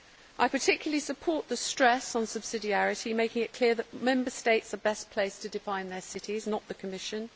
I particularly support the stress on subsidiarity, making it clear that Member States are best placed to define their cities, not the Commission.